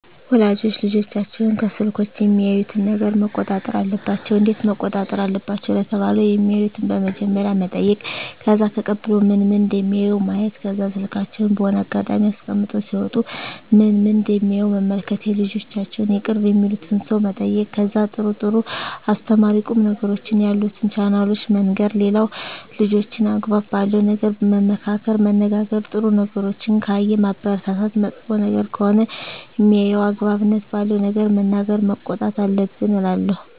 ወላጆች ልጆቻቸውን ከስልኮች የሚያዩትን ነገረ መቆጣጠር አለባቸው እንዴት መቆጣጠር አለባቸው ለተባለው የማዩትን በመጀመሪያ መጠይቅ ከዛ ተቀብሎ ምን ምን እደሚያዩ ማየት ከዛ ስልካቸውን በሆነ አጋጣሚ አስቀምጠው ሲወጡ ምን ምን እደሚያዩ መመልከት የልጆቻቸውን የቅርብ የሚሉትን ሰው መጠየቅ ከዛ ጥሩ ጥሩ አስተማሪ ቁም ነገሮችን ያሉትን ቻናሎችን መንገር ሌላው ልጆችን አግባብ ባለው ነገር መመካከር መነጋገር ጥሩ ነገሮችን ካየ ማበረታታት መጥፎ ነገር ከሆነ ሜያየው አግባብነት ባለው ነገር መናገር መቆጣት አለብን እላለው